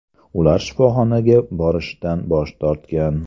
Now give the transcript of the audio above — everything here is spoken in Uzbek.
Ular shifoxonaga borishdan bosh tortgan.